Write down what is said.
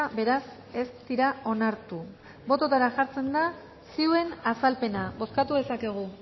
beraz ez dira onartu bototara jartzen da zioen azalpena bozkatu dezakegu